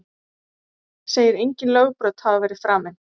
Segir engin lögbrot hafa verið framin